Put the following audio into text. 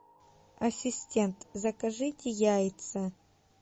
ассистент закажите яйца